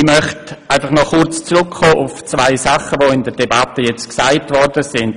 Ich möchte auf zwei Dinge eingehen, die in der Debatte gesagt wurden.